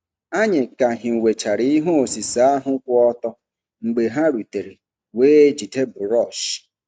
Anyị ka hiwechara ihe osise ahụ kwụ ọtọ mgbe ha rutere wee jide brọọsh.